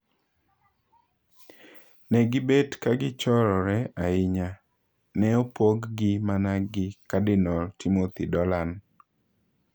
Negibet kagichorore ahinya, Ne opog gi mana gi kadinol Timothy Dolan.